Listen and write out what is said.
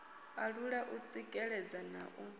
alula u tsikeledza na u